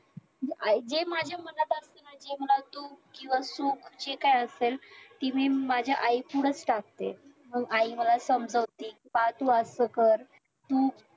आई जे माझ्या मनात आल कि माझी आई मला तूप किंवा सूप जे काय असेल ती मी माझ्या आईपुढंच टाकते मग आई मला समाजवते बाळ तू असं कर तू